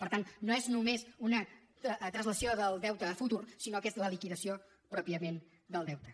per tant no és només una translació del deute a futur sinó que és la liquidació pròpiament del deute